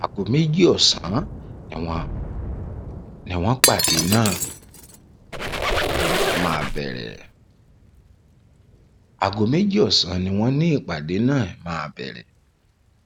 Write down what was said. aago méjì ọsán ni wọn ni wọn nípàdé náà máa bẹrẹ aago méjì ọsán ni wọn ni nípàdé náà máa bẹrẹ